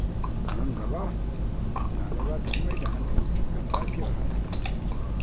A nan gaba, Nana za ta fi mai da hankali kan lafiyar hankalinta.